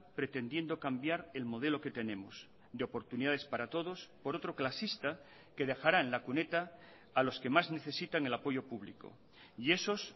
pretendiendo cambiar el modelo que tenemos de oportunidades para todos por otro clasista que dejará en la cuneta a los que más necesitan el apoyo público y esos